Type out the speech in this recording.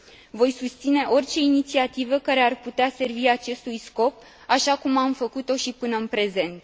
Voi susține orice inițiativă care ar putea servi acestui scop, așa cum am făcut o și până în prezent.